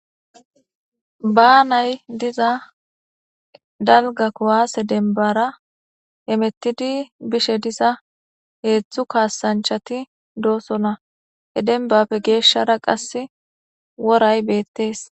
baanay diza danga kuwase denbara emettidi bishe diza heetzdtzu kaasanchati doosona he denbapfe geeshshara qasse woray beettees